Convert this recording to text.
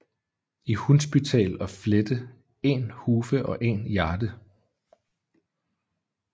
I Hunsbytæl og Flette 1 hufe og 1 jarde